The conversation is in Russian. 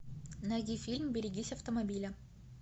найди фильм берегись автомобиля